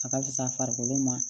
A ka fisa farikolo ma